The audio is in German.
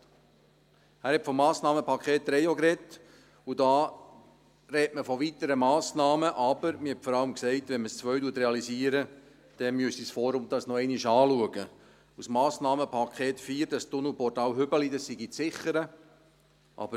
Er hat auch vom Massnahmenpaket 3 gesprochen, und dort spricht man von weiteren Massnahmen, aber man hat vor allem gesagt: Wenn man das Massnahmenpaket 2 realisiert, dann müsste das Forum dies noch einmal anschauen, und das Massnahmenpaket 4, das Tunnelportal Hübeli, sei zu sichern.